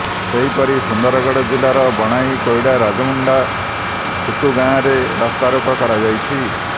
ସେହିପରି ସୁନ୍ଦରଗଡ଼ ଜିଲ୍ଲାର ବଣାଇ କୋଇଡ଼ା ରାଜାମୁଣ୍ଡା ଖୁଟୁଗାଁରେ ରାସ୍ତାରୋକ କରାଯାଇଛି